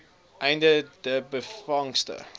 einde de byvangste